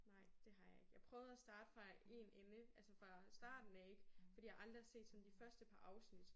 Nej det har jeg ikke. Jeg prøvede at starte fra en ende altså fra starten af ikke fordi jeg aldrig har set sådan de første par afsnit